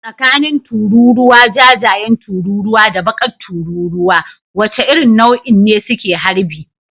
Tsakanin tururuwa jajayen tururuwa da bakar tururuwa, wace irin nau'in ne suke harbi?